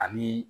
Ani